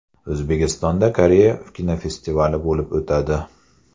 O‘zbekistonda Koreya kinofestivali bo‘lib o‘tadi.